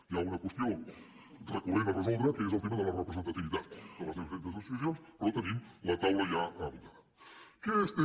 hi ha una qüestió recurrent a resoldre que és el tema de la representativitat de les diferents associacions però tenim la taula ja muntada